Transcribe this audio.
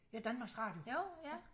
Ja Danmarks Radio